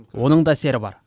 оның да әсері бар